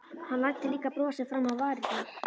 Hann læddi líka brosi fram á varirnar.